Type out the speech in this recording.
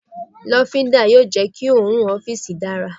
lofinda yóò jẹ ki orùn ọfiisi dara